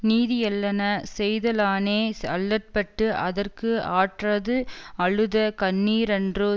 நீதியல்லன செய்தலானே அல்லற்பட்டு அதற்கு ஆற்றாது அழுத கண்ணீரன்றோ